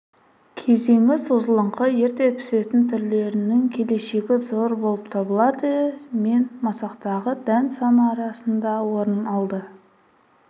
кезеңі созылыңқы ерте пісетін түрлерінің келешегі зор болып табылады мен масақтағы дән саны арасында орын алды